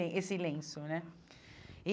Esse lenço, né?